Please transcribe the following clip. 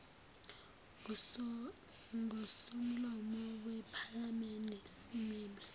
ngosomlomo wephalamende simeme